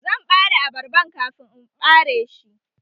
Zan ɓare abarban kafin in ɓareshi.